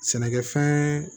Sɛnɛkɛfɛn